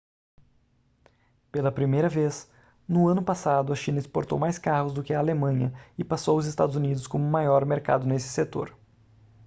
pela primeira vez no ano passado a china exportou mais carros do que a alemanha e passou os estados unidos como maior mercado nesse setor